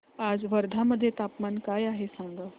आज वर्धा मध्ये तापमान काय आहे सांगा